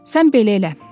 Sən belə elə.